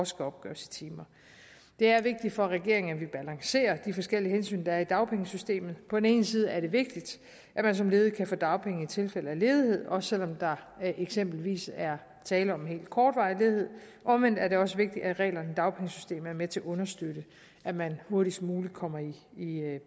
skal opgøres i timer det er vigtigt for regeringen at vi balancerer de forskellige hensyn der er i dagpengesystemet på den ene side er det vigtigt at man som ledig kan få dagpenge i tilfælde af ledighed også selv om der eksempelvis er tale om en helt kortvarig ledighed omvendt er det også vigtigt at reglerne i dagpengesystemet er med til at understøtte at man hurtigst muligt kommer i